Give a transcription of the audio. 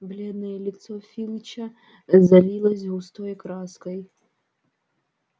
бледное лицо филча залилось густой краской